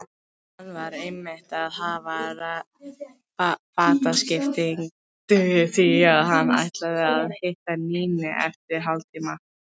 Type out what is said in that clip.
Hann var einmitt að hafa fataskipti því að hann ætlar að hitta Nínu eftir hálftíma.